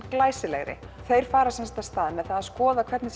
glæsilegri þeir fara að stað með að skoða hvernig